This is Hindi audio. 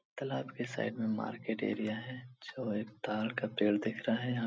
तालाब के साइड में मार्केट एरिया है जो एक ताड़ का पेड़ दिख रहा यहाँ।